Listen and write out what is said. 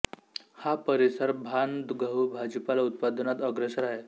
हा परिसर धान गहू भाजीपाला उत्पादनात अग्रेसर आहे